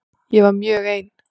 Ég var mjög ein.